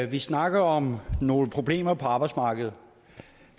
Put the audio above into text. vi snakker om nogle problemer på arbejdsmarkedet